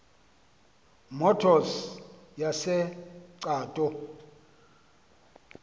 motors yase cato